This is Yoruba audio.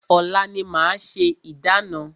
Ọ̀la ni a máa ṣe ìdána.